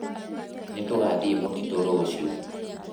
Nĩtũgathiĩ mũtitũ rũciũ